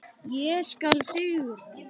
Ég skal sigra!